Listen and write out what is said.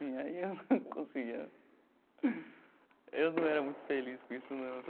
E aí eu não conseguia eu não era muito feliz com isso não.